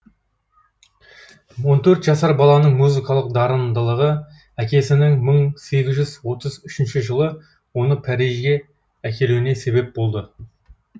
он төрт жасар баланың музыкалық дарындырығы әкесінің мың сегіз жүз отыз үшінші жылы оны парижге әкелуіне себеп болды